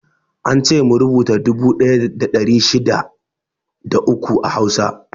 Ance mu rubuta dubu ɗaya da ɗari shida da uku a Hausa.